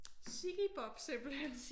Sigge Bob simpelthen?